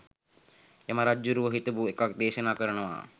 යම රජ්ජුරුවො හිතපු එකක් දේශනා කරනවා